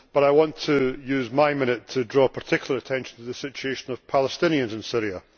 But I want to use my minute to draw particular attention to the situation of Palestinians in Syria.